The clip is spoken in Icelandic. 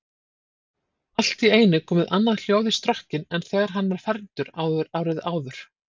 Allt í einu komið annað hljóð í strokkinn en þegar hann var fermdur árið áður.